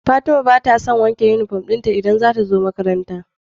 Fatima batason wanke inufom dinta idan zatazo makaranta